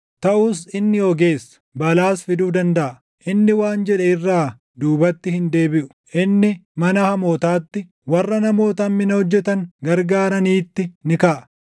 Taʼus inni ogeessa; balaas fiduu dandaʼa; inni waan jedhe irraa duubatti hin deebiʼu. Inni mana hamootaatti, warra namoota hammina hojjetan gargaaraniitti ni kaʼa.